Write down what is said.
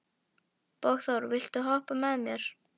Borgþór, viltu hoppa með mér?